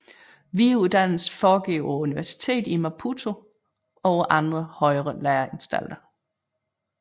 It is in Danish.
Videreuddannelse foregår på universitetet i Maputo og på andre højere læreanstalter